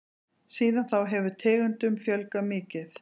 Síðan þá hefur tegundum fjölgað mikið.